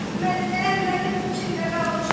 Mən elə Əhmədin fikrinə qalmışam.